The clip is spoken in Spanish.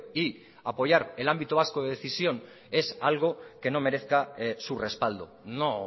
y apoyar el ámbito vasco de decisión es algo que no merezca su respaldo no